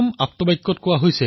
তাত কোৱা হৈছে